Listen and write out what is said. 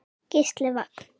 Gísli Vagn.